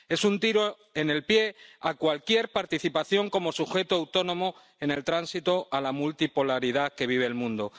Es un tiro en el pie a cualquier participación como sujeto autónomo en el tránsito a la multipolaridad que vive el mundo.